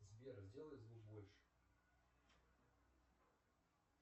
сбер сделай звук больше